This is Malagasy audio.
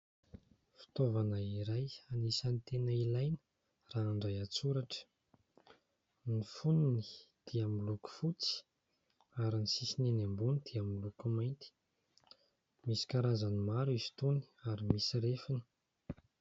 Fitaovana iray anisany tena ilaina raha handray an-tsoratra, ny fonony dia miloko fotsy ary ny sisiny eny ambony dia miloko mainty, misy karazany maro izy itony ary misy refiny.